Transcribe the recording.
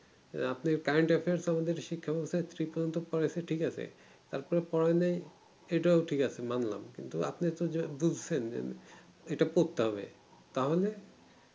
আহ আপনি current affairs এ সমন্ধে শিক্ষা পর্যন্ত পড়েছি টিক আছে তারপরে পড়া নেই এটাও ঠিক আছে মানলাম কিন্তু আপনি আপনার জায়গা বুজছেন এটা পড়তে হবে তাহলে